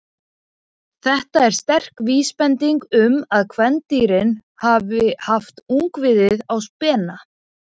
Þetta er sterk vísbending um að kvendýrin hafi haft ungviðið á spena.